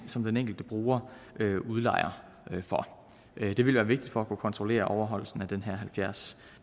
som den enkelte bruger udlejer for det vil være vigtigt for at kunne kontrollere overholdelsen af den her halvfjerds